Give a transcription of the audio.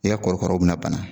I y'a kɔrɔkaraw bɛna bana